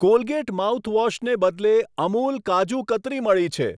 Colgate માઉથવોશને બદલે અમુલ કાજુ કતરી મળી છે.